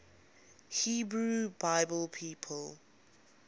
hebrew bible people